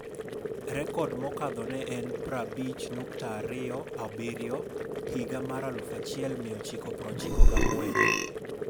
Rekod mokadho ne en 50.27m higa mar 1994.